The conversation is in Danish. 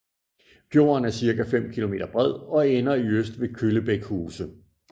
Fjorden er cirka 5 km bred og ender i øst ved Kyllebæk Huse